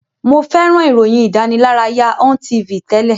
Mo fẹ́ràn ìròyìn ìdánilárayá Ontv tẹ́lẹ̀.